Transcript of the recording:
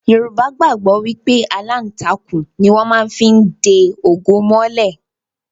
Yorùbá gbàgbọ́ wípé aláǹtakùn ni wón má fí ń de ògo mọ́lẹ̀